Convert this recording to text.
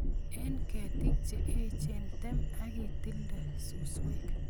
Eng' ketik che echen tem ak itilda suswek